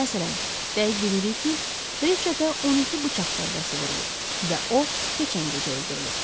Məsələn, dəqiq bilirik ki, Reçetə 12 bıçaq zərbəsi vurulub və o, keçən gecə öldürülüb.